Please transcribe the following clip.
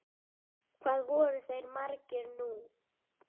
Hvað voru þeir margir nú?